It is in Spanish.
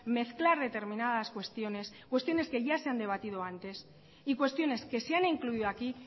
mezclar determinadas cuestiones cuestiones que ya se han debatido antes y cuestiones que se han incluido aquí